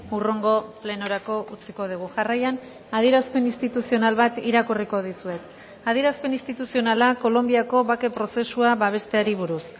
hurrengo plenorako utziko dugu jarraian adierazpen instituzional bat irakurriko dizuet adierazpen instituzionala kolonbiako bake prozesua babesteari buruz